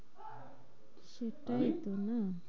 সেটাই তো না?